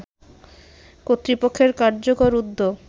কর্তৃপক্ষের কার্যকর উদ্যোগ